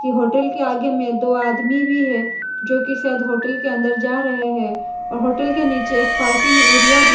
इ होटल के आगे में दो आदमी भी है जो कि शायद होटल के अंदर जा रहे हैं और होटल के नीचे एक पार्किंग एरिया भी --